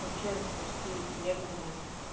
вообще почти серебряная